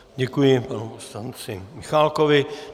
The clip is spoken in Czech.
Děkuji panu poslanci Michálkovi.